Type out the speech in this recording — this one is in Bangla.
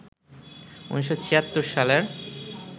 ১৯৭৬ সালের